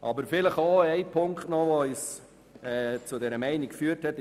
Es gibt noch einen Punkt, der uns zu dieser Meinung geführt hat.